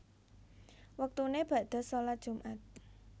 Wektune bakda shalat Jumat